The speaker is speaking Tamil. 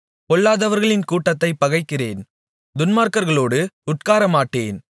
பொல்லாதவர்களின் கூட்டத்தைப் பகைக்கிறேன் துன்மார்க்கர்களோடு உட்காரமாட்டேன்